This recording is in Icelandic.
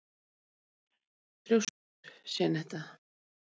Af hverju ertu svona þrjóskur, Jenetta?